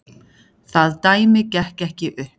Það dæmi gekk ekki upp.